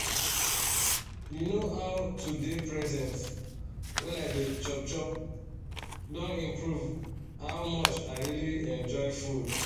you know to dey present when i dey chop chop don improve how much i really enjoy food